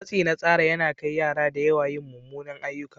Matsi na tsara yana kai yara da yawa yin munanan ayyuka.